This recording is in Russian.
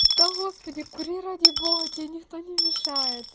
да господи кури ради бога тебе никто не мешает